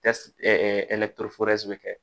bɛ kɛ